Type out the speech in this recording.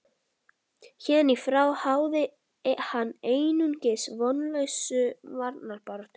Héðan í frá háði hann einungis vonlausa varnarbaráttu.